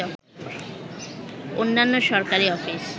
অন্যান্য সরকারি অফিস